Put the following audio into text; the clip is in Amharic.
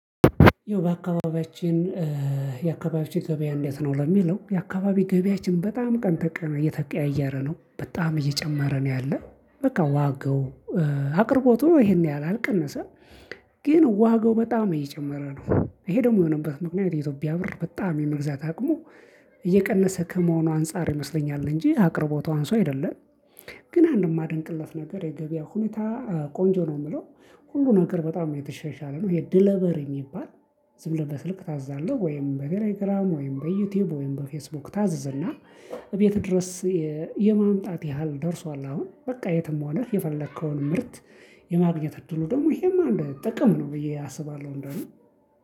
ያው በአካባቢያችን የአካባቢያችን ገበያ እንዴት ነው? ለሚለው የአካባቢ ገበያችን በጣም ቀን ተቀን እየተቀያየረ ነው በጣም እየጨመረ ነው ያለው። በቃ ዋጋው አቅርቦቱ ይሄን ያህል አልቀነሰም። ግን ዋጋው በጣም እየጨመረ ነው ይሄ ደግሞ የሆነበት ምክንያት የኢትዮጵያ ብር በጣም የመግዛት አቅሙ እየቀነሰ ከመሆኑ አንፃር ይመስለኛል። እንጂ አቅርቦቱ አንሶ አይደለም። ግን አንድም ማደንቅለት ነገር የገበያ ሁኔታ ቆንጆ ነው የምለው። ሁሉ ነገር በጣም የተሸሻለ ነው የድለበሪ የሚባል። ዝም ብለህ በስልክ ታዛለህ ወይም በቴሌግራም ወይም በዩቲዩብ ወይም በፌስቡክ ታዘዘና። እቤት ድረስ የማምጣት ያህል ደርሷል። አሁን በቃ የትም ሆነህ የፈለከውን ምርት የማግኘት እድሉ ደግሞ ይሄማ እንደ ጥቅም ነው ብዬ አስባለሁ። እንደውም